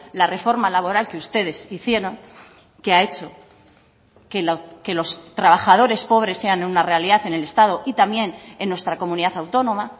la reforma laboral que ustedes hicieron que ha hecho que los trabajadores pobres sean una realidad en el estado y también en nuestra comunidad autónoma